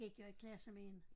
Gik jeg i klasse med en